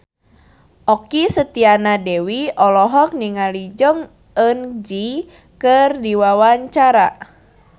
Okky Setiana Dewi olohok ningali Jong Eun Ji keur diwawancara